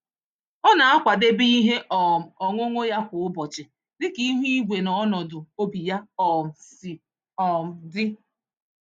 Ọ na-akwadebe ihe um ọṅụṅụ ya kwa ụbọchị dịka ihu igwe na ọnọdụ obi ya um si um dị.